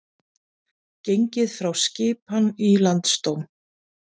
Gengið frá skipan í Landsdóm